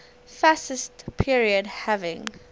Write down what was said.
fascist period having